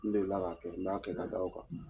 N deli la k'a kɛ n b'a kɛ ka da o kan.